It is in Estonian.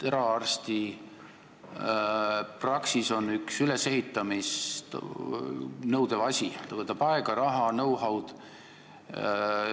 Eraarstipraksis on üks ülesehitamist nõudev asi: see võtab aega, raha, know-how'd.